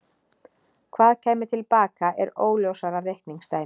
Hvað kæmi til baka er óljósara reikningsdæmi.